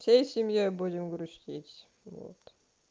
всей семьёй будем грустить вот